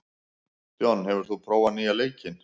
John, hefur þú prófað nýja leikinn?